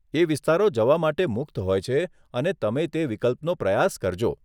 એ વિસ્તારો જવા માટે મુક્ત હોય છે, અને તમે તે વિકલ્પનો પ્રયાસ કરજો.